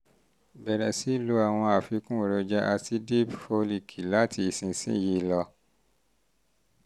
bẹ̀rẹ̀ sí lo àwọn àfikún èròjà aàsìipdip fólííkì láti ìsinsìnyí lọ